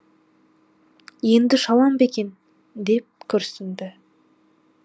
енді ұша алам ба екен деп күрсінді